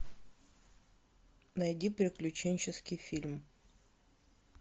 найди приключенческий фильм